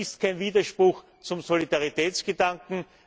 Das ist kein Widerspruch zum Solidaritätsgedanken.